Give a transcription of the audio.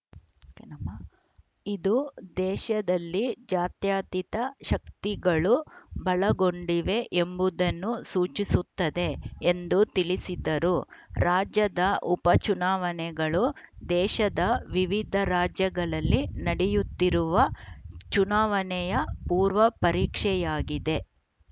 ಇದು ದೇಶದಲ್ಲಿ ಜಾತ್ಯತೀತ ಶಕ್ತಿಗಳು ಬಲಗೊಂಡಿವೆ ಎಂಬುದನ್ನು ಸೂಚಿಸುತ್ತದೆ ಎಂದು ತಿಳಿಸಿದರು ರಾಜ್ಯದ ಉಪಚುನಾವಣೆಗಳು ದೇಶದ ವಿವಿಧ ರಾಜ್ಯಗಳಲ್ಲಿ ನಡೆಯುತ್ತಿರುವ ಚುನಾವಣೆಯ ಪೂರ್ವ ಪರೀಕ್ಷೆಯಾಗಿದೆ